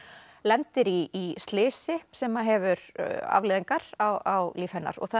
lendir í slysi sem hefur afleiðingar á líf hennar